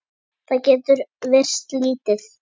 Það getur virst lítið.